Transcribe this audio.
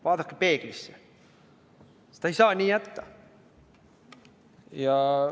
Vaadake peeglisse, seda ei saa nii jätta!